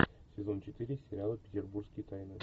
сезон четыре сериала петербургские тайны